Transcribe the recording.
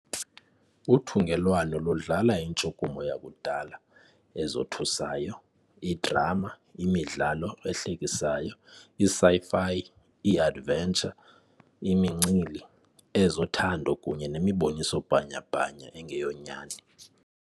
Uthungelwano ludlala intshukumo yakudala, ezothusayo, idrama, imidlalo ehlekisayo, i-sci-fi, i-adventure, imincili, ezothando, kunye nemiboniso bhanyabhanya engeyonyani.